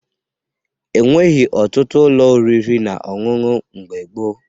E nweghi ọtụtụ ụlọ oriri na ọṅụṅụ mgbe gboo